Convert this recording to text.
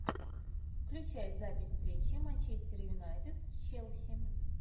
включай запись встречи манчестер юнайтед с челси